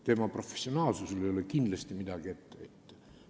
Tema professionaalsusele ei ole kindlasti midagi ette heita.